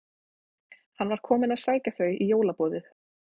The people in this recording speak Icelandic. Hann var kominn að sækja þau í jólaboðið.